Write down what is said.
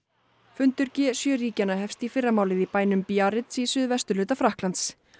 fundur g sjö ríkjanna hefst í fyrramálið í bænum Biarritz í suðvesturhluta Frakklands